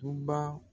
Toba